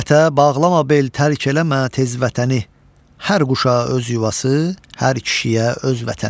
Qürbətə bağlama bel tərk eləmə tez vətəni, hər quşa öz yuvası, hər kişiyə öz vətəni.